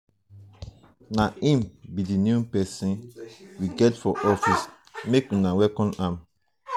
na him be the new person we get for office make una welcome am.